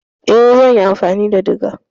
Eh zan yi amfani da diga.